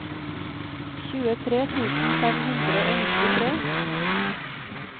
tjuetre tusen fem hundre og nittitre